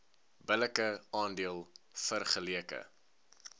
billike aandeel vergeleke